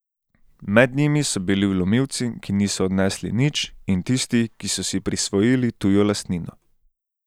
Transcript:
Med njimi so bili vlomilci, ki niso odnesli nič, in tisti, ki so si prisvojili tujo lastnino.